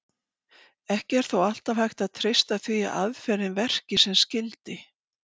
Ekki er þó alltaf hægt að treysta því að aðferðin verki sem skyldi.